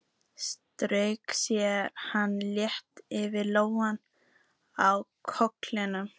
Svo strauk hann létt yfir lóna á kollinum.